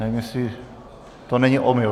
Nevím, jestli to není omyl.